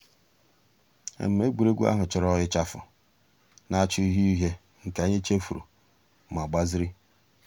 ègwè́ré́gwụ̀ àhụ̀ chọ̀rọ̀ ịchàfụ̀ nà-àchá ǔhíe ǔhíe nke ànyị̀ chèfùrù mà gbàzìrì.